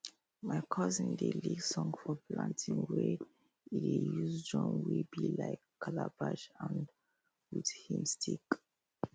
my cousin dey lead song for planting wen e dey use drum wey be like calabash and with him stick